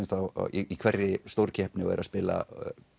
í hverri stórkeppni eru að spila